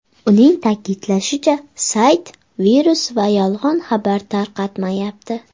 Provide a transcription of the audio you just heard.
Uning ta’kidlashicha, sayt virus va yolg‘on xabar tarqatmayapti.